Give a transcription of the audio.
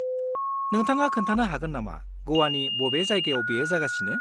नोंथाङा खोन्थानो हागोन नामा ग'वानि बबे जायगायाव बेयो जागासिनो?